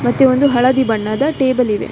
ಮತ್ತೆ ಒಂದು ಹಳದಿ ಬಣ್ಣದ ಟೇಬಲ್‌ ಇದೆ.